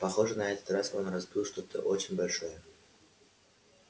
похоже на этот раз он разбил что-то очень большое